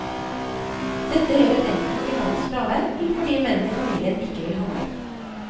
Dette gjør hun enten i mannens fravær, eller fordi mennene i familien ikke vil handle.